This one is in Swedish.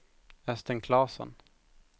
Östen Klasson